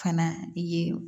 Fana ye